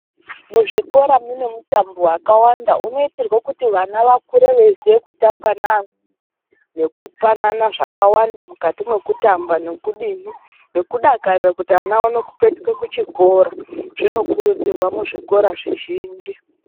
Muzvikora mune mitambo yakawanda unoitirwe kuti vana vakure veiziye kutamba nevamweni, nekupanana zvakawanda mukati mwekutamba nekudini nekudakarira kuti ana aone kupetuke kuchikora, zvinokuridzirwa muzvikora zvizhinji.